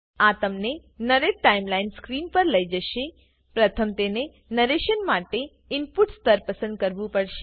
આ તમને narrate timeline screen પર લઇ જશેપ્રથમ તમને નરેશન માટે ઈનપુટ સ્તર પસંદ કરવું પડશે